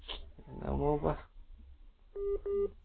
அவ்ளோதான் silent Noise